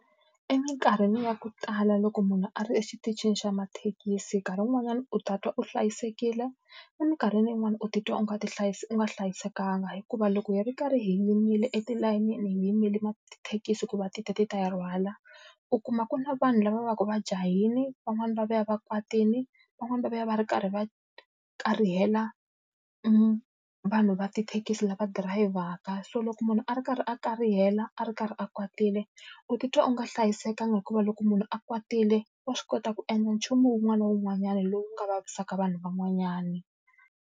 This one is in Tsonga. Eminkarhini ya ku tala loko munhu a ri exitichini xa mathekisi nkarhi wun'wanyana u ta twa u hlayisekile, eminkarhini yin'wani u titwa u nga u nga hlayisekanga. Hikuva loko hi ri karhi hi yimile etilayenini hi yimele tithekisi ku va ti ta ti ta hi rhwala, u kuma ku na vanhu lava va va ka va jahile, van'wana va vuya va kwatile, van'wana va vuya va ri karhi va karihela vanhu va tithekisi lava dirayivhaka. So loko munhu a ri karhi a karhihela, a ri karhi a kwatile, u titwa u nga hlayisekanga hikuva loko munhu a kwatile wa swi kota ku endla nchumu wun'wana na wun'wanyana lowu nga vaviseka vanhu van'wanyana.